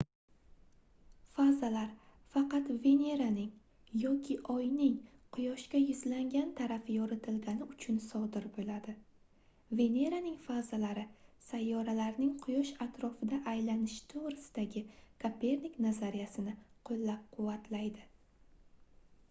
fazalar faqat veneraning yoki oyning quyoshga yuzlangan tarafi yoritilgani uchun sodir bo'ladi. veneraning fazalari sayyoralarning quyosh atrofida aylanishi to'g'risidagi kopernik nazariyasini qo'llab-quvvatladi